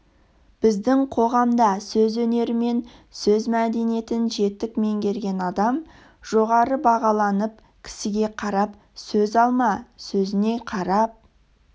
біздің қоғамда сөз өнері мен сөз мәдениетін жетік меңгерген адам жоғары бағаланып кісіге қарап сөз алма сөзіне қарап